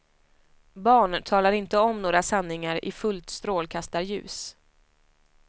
Barn talar inte om några sanningar i fullt strålkastarljus.